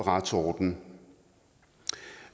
retsorden